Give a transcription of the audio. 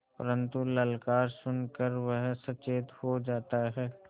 परन्तु ललकार सुन कर वह सचेत हो जाता है